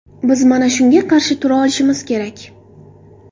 Biz mana shunga qarshi tura olishimiz kerak.